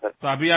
ধন্যবাদ ছাৰ